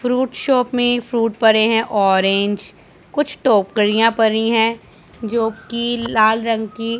fruit shop में fruit पड़े हैं ऑरेंज कुछ टोकरियां परी हैं जो की लाल रंग की--